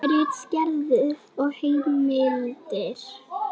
Ritgerðir og heimildir.